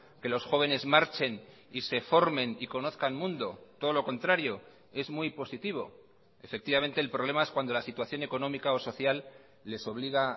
que los jóvenes marchen y se formen y conozcan mundo todo lo contrario es muy positivo efectivamente el problema es cuando la situación económica o social les obliga